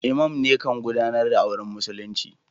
lmam ne kan gudanar da auren musulinci.